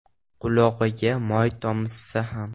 Qulog‘iga moy tomizsa ham.